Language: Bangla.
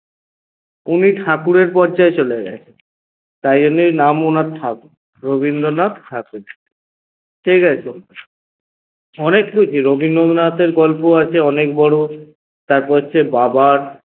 উনি ঠাকুরের পর্যায়ে চলে গেছেন তাই জন্যে নাম ‍ওনার ঠাকুর রবিন্দ্রনাথ ঠাকুর ঠিকাছে? অনেক রবিন্দ্রনাথের গল্প আছে অনেক বড় তারপর হচ্ছে বাবার